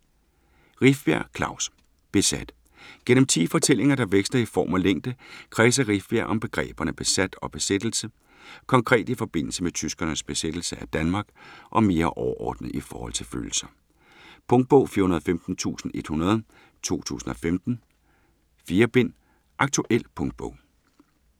Rifbjerg, Klaus: Besat Gennem 10 fortællinger, der veksler i form og længde, kredser Rifbjerg om begreberne "besat" og "besættelse". Konkret i forbindelse med tyskernes besættelse af Danmark og mere overordnet i forhold til følelser. Punktbog 415100 2015. 4 bind. Aktuel punktbog